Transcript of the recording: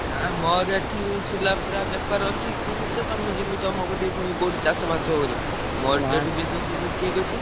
ନା ମୋର ଏଠି ସୁଲା ଫୁଲା ବେପାର ଅଛି ମୁଁ କେତେ ତମ ଯିମି ତମ କତିକି ପୁଣି କଉଠି ଚାଷ ମାସ କରିବ ମୋର ତ ଏଠି business ଫିଜନେସ ଠିକ୍ ଅଛି।